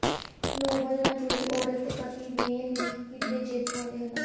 Nobel ਨਾਲ ਜੁੜੀ ਔਰਤ ਦੇ ਪਤੀ ਨੇ ਲੀਕ ਕੀਤੇ ਜੇਤੂਆਂ ਦੇ ਨਾਂ